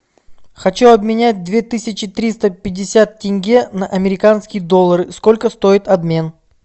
хочу обменять две тысячи триста пятьдесят тенге на американские доллары сколько стоит обмен